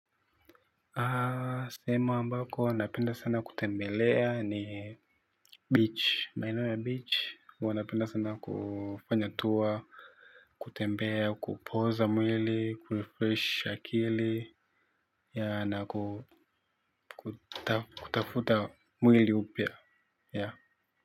Aaa sehemu ambako napenda sana kutembelea ni beach maeneo huwa napenda sana kutua kutembea kupoza mwili kufurahisha akili na ku kutafuta mwili upya yaa.